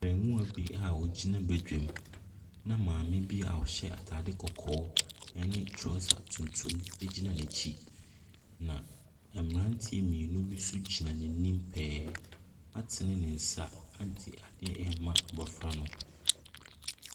Abarimaa bi a ɔgyina badwam, na maame bi a ɔhyɛ atade kɔkɔɔ ne trɔsa tuntum gyina n'akyi. Na mmeranteɛ mmienu bi nso gyina n'anim pɛɛ atene ne nsa de adeɛ rema abɔfra no.